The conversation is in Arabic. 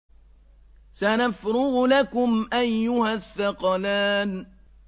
سَنَفْرُغُ لَكُمْ أَيُّهَ الثَّقَلَانِ